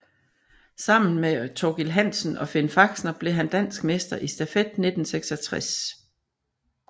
Samme med Thorkil Hansen og Finn Faxner blev han dansk mester i stafet 1966